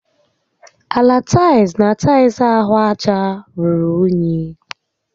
Ala taịls na taịls ahụ aja ruru únyí